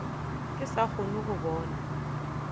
ke sa kgone go bona